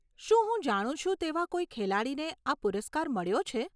શું હું જાણું છું તેવા કોઈ ખેલાડીને આ પુરસ્કાર મળ્યો છે?